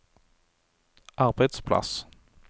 arbeidsplass